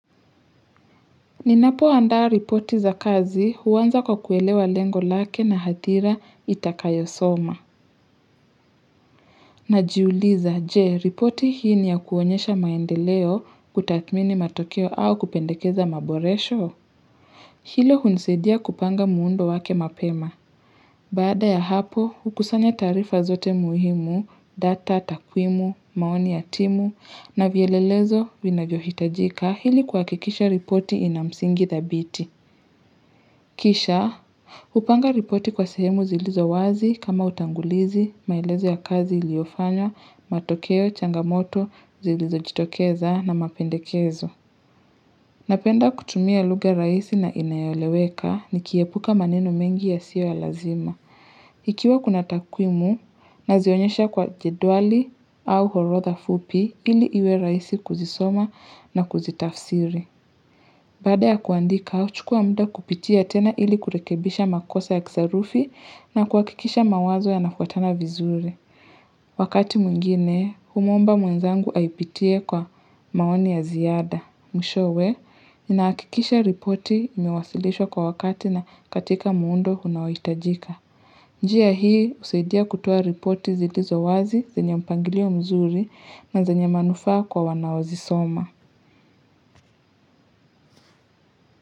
Ninapoandaa ripoti za kazi huanza kwa kuelewa lengo lake na hadhira itakayosoma Najiuliza, je ripoti hii ni ya kuonyesha maendeleo kutathmini matokeo au kupendekeza maboresho? Hilo hunisaidia kupanga muundo wake mapema. Baada ya hapo, hukusanya taarifa zote muhimu, data takwimu, maoni ya timu na vielelezo vinavyohitajika ili kwa kuhakikisha ripoti ina msingi thabiti. Kisha hupanga ripoti kwa sehemu zilizo wazi kama utangulizi, maelezo ya kazi iliyofanywa, matokeo, changamoto, zilizojitokeza na mapendekezo. Napenda kutumia lugha rahisi na inayoleweka nikiepuka maneno mengi yasiyo ya lazima. Ikiwa kuna takwimu, nazionyesha kwa jedwali au orodha fupi ili iwe rahisi kuzisoma na kuzitafsiri. Baada ya kuandika, huchukua muda kupitia tena ili kurekebisha makosa ya kisarufi na kuhakikisha mawazo yanafuatana vizuri. Wakati mwingine, humwomba mwenzangu aipitie kwa maoni ya ziada. Mwishowe, nahakikisha ripoti imewasilishwa kwa wakati na katika muundo unaohitajika. Njia hii, husaidia kutoa ripoti zilizowazi, zenye mpangilio mzuri na zenye manufaa kwa wanaozisoma.